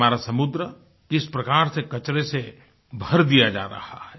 हमारा समुद्र किस प्रकार से कचरे से भर दिया जा रहा है